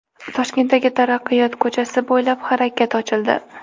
Toshkentdagi Taraqqiyot ko‘chasi bo‘ylab harakat ochildi.